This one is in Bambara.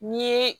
N'i ye